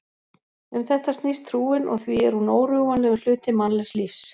Um þetta snýst trúin og því er hún órjúfanlegur hluti mannlegs lífs.